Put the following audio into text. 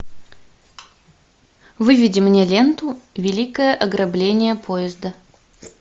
выведи мне ленту великое ограбление поезда